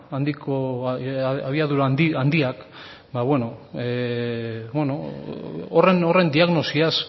handiak ba beno horren diagnosiaz